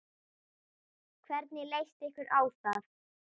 Hvernig leyst ykkur á það?